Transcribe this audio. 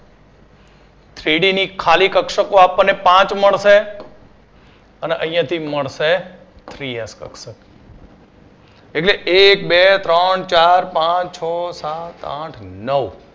Three D ખાલી કક્ષકો આપણને પાંચ મળશે અને અહિયાથી મળશે Three X કક્ષક એટલે એક બે ત્રણ ચાર પાંચ છ સાત આઠ નવ